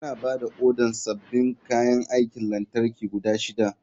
Muna ba da odar sabbin kayan aikin lantarki guda shida.